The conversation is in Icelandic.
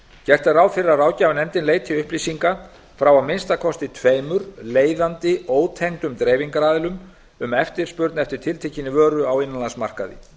gert er ráð fyrir að ráðgjafarnefndin leiti upplýsinga frá að minnsta kosti tveimur leiðandi ótengdum dreifingaraðilum um eftirspurn eftir tiltekinni vöru á innanlandsmarkaði